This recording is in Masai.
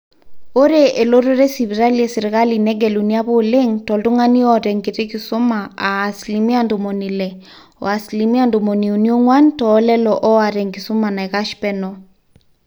ore elototo esipitali esirkali negeluni apa oleng toltung'ani oota enkiti kisuma aa asilimia ntomoni ile, o asilimia tomoniuni oong'wan toolelo ooata enkisuma naikash peno